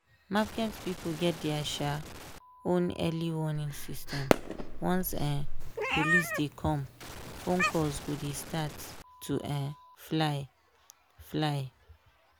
market people get their um own early warning system once um police dey come phone calls go dey start to um fly. fly.